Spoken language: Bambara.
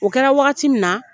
O kɛra wagati min na.